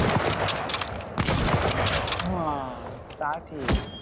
হ্যাঁ তা ঠিক